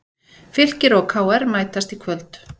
Fylkir og KR mætast í kvöld